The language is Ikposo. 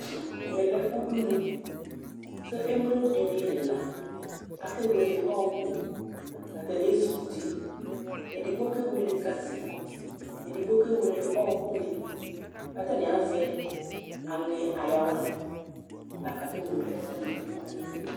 Ɛmɛlɛ lɛ ʋɖʋnu Emlo ɖíni ɛla, akewele ɔku Ataŋi ezikʋti Ɛɖigbo kewele gaze Ɛɖigbo kewele ɔku ni kʋ ataŋi azɛ anyɛ ayawa lakʋ akewele ɔku waŋi ɖu ŋu ayìlí